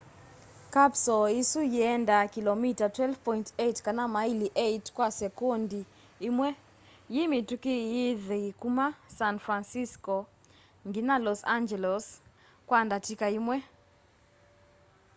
kapsoo isu yiendaa kilomita 12.8 kana maili 8 kwa sekondi imwe yi mitũki yithi kũma san francisco nginya los angeles kwa ndatika imwe